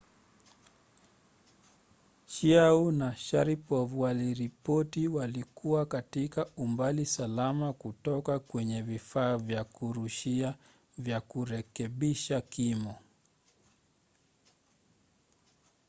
chiao na sharipov waliripoti walikuwa katika umbali salama kutoka kwenye vifaa vya kurushia vya kurekebisha kimo